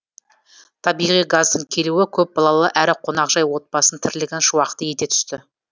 табиғи газдың келуі көпбалалы әрі қонақжай отбасының тірлігін шуақты ете түсті